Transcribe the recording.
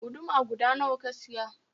Guduma guda nawa ka siya?